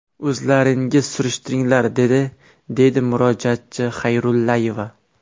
O‘zlaringiz surishtiringlar’, dedi”, deydi murojaatchi Xayrullayeva.